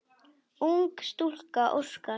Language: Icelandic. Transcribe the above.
Ung stúlka óskar.